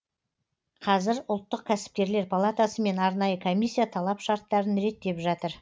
қазір ұлттық кәсіпкерлер палатасы мен арнайы комиссия талап шарттарын реттеп жатыр